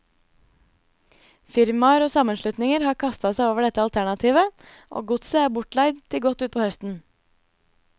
Firmaer og sammenslutninger har kastet seg over dette alternativet, og godset er bortleid til godt utpå høsten.